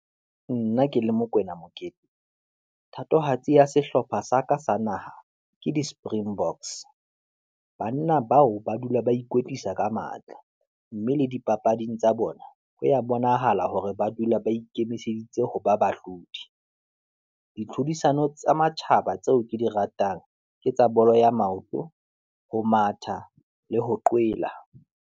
Nna ke le Mokwena Mokete, thatohatsi ya sehlopha sa ka sa naha ke di springboks. Banna bao ba dula ba ikwetlisa ka matla, mme le dipapading tsa bona ho ya bonahala hore ba dula ba ikemiseditse ho ba bahlodi. Ditlhodisano tsa matjhaba tseo ke di ratang, ke tsa bolo ya maoto, ho matha, le ho qwela.